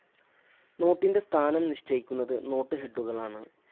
നോട്ടിന്റെ സ്ഥാനം നിശ്ചയിക്കുന്നത് നോട്ട്‌ ഹെഡുകളാണ്.